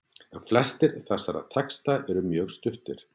En flestir þessara texta eru mjög stuttir.